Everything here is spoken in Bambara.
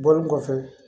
Bɔlen kɔfɛ